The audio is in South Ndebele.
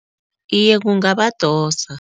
Iye, kungabadosa.